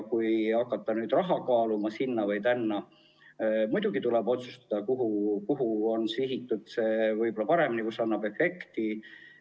Kui hakata kaaluma, kas suunata raha sinna või tänna, siis muidugi tuleb otsustada, kuidas see oleks kõige paremini sihitud ja kus see annaks efekti.